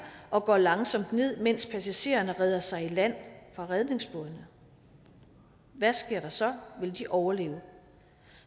og går langsomt ned mens passagererne redder sig i land fra redningsbådene hvad sker der så vil de overleve